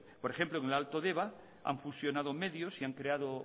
por ejemplo en el alto deba han fusionado medios y han creado